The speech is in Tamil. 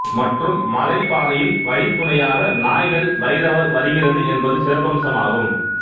மற்றும் மலை பாதையில் வழி துணையாக நாய்கள் பைரவர் வருகிறது என்பது சிறப்பம்சமாகும்